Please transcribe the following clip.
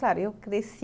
Claro, eu cresci